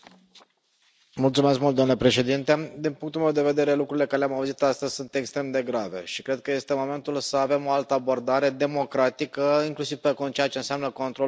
Domnule președinte, din punctul meu de vedere, lucrurile pe care le am auzit astăzi sunt extrem de grave și cred că este momentul să avem o altă abordare democratică, inclusiv pe ceea ce înseamnă controlul fondurilor Uniunii Europene.